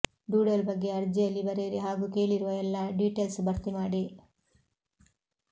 doodle ಬಗ್ಗೆ ಅರ್ಜಿಯಲ್ಲಿ ಬರಿಯಿರಿ ಹಾಗೂ ಕೇಳಿರುವ ಎಲ್ಲಾ ಡೀಟೆಲ್ಸ್ ಭರ್ತಿ ಮಾಡಿ